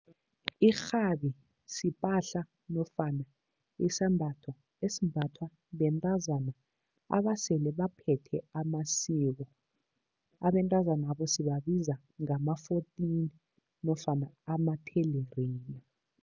Irhabi sipahla nofana isambatho esimbathwa bentazana abasele baphethe amasiko, abentazanabo sibabiza ngama-fourteen nofana amathelerina.